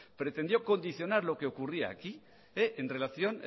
pretendió condicionar lo que ocurría aquí en relación